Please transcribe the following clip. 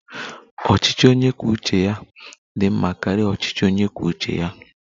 Ọchịchị onye kwuo uche ya dị mma karịa ọchịchị onye kwuo uche ya